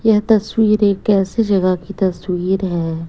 यह तस्वीर एक ऐसी जगह की तस्वीर है।